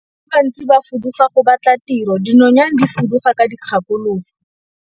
Batho ba bantsi ba fuduga go batla tiro, dinonyane di fuduga ka dikgakologo.